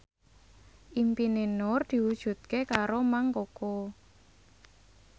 impine Nur diwujudke karo Mang Koko